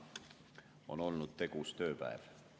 On olnud tegus tööpäev.